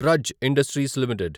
Praj industries limited